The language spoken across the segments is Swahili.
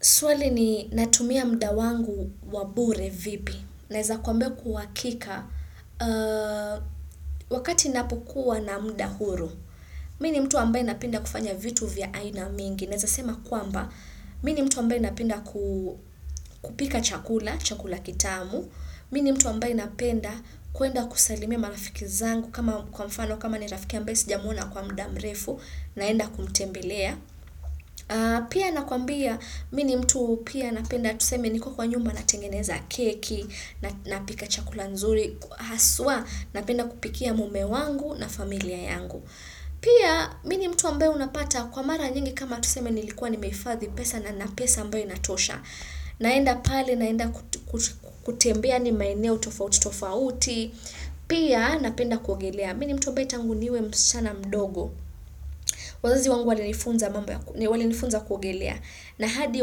Swali ni natumia muda wangu wa bure vipi, naeza kwamba kwa hakika, wakati ninapokua na muda huru, mimi ni mtu ambaye napenda kufanya vitu vya aina mingi, naeza sema kwamba, mimi ni mtu ambaye napenda kupika chakula, chakula kitamu, mimi ni mtu ambaye napenda kuenda kusalimia marafiki zangu kama kwa mfano, kama ni rafiki ambaye sijamwona kwa muda mrefu, naenda kumtembelea. Pia nakwambia mimi ni mtu pia napenda tuseme niko kwa nyumba natengeneza keki, napika chakula nzuri, haswa napenda kupikia mume wangu na familia yangu. Pia mimi ni mtu ambaye unapata kwa mara nyingi kama tuseme nilikuwa nimehifadhi pesa na ninq pesa ambayo inatosha. Naenda pale, naenda kutembia yaani maeneo tofauti tofauti. Pia napenda kuogelea mimi ni mtu ambaye tangu niwe msichana mdogo wazazi wangu walinifunza kuogelea na hadi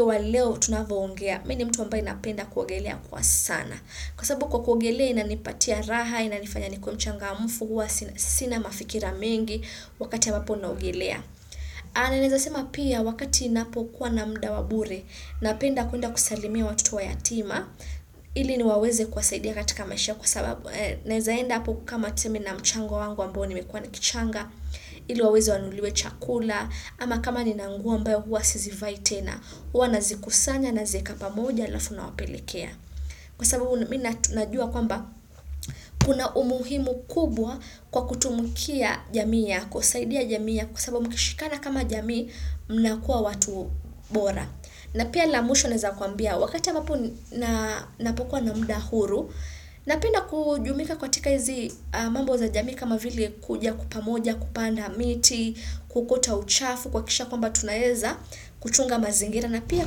waleo tunavyoongea mimi ni mtu ambaye napenda kuogelea kwa sana kwa sababu kwa kuogelea inanipatia raha, inanifanya nikuwe mchangamfu, huwa sina mafikira mengi wakati ambapo naogelea na ninaeza sema pia wakati ninapokuwa na muda wa bure napenda kuenda kusalimia watoto yatima ili niwaweze kuwasaidia katika maisha kwa sababu naeza enda hapo kama tuseme na mchango wangu ambao nimekuwa nikichanga ili waweze wanunuliwe chakula ama kama nina nguo ambayo huwa sizivai tena huwa nazikusanya nazieka pamoja alafu nawapelekea kwa sababu mimi na tunajua kwamba kuna umuhimu kubwa kwa kutumukia jamii yako saidia jamii yako kwa sababu mkishikana kama jamii mnakua watu bora. Na pia la mwisho naeza kwambia wakati ambapo ninapokuwa na muda huru Napenda kujumuika katika hizi mambo za jamii kama vile kuja pamoja, kupanda miti, kuokota uchafu, kuhakikisha kwamba tunaeza kuchunga mazingira na pia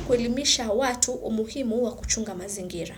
kuelimisha watu umuhimu wa kuchunga mazingira.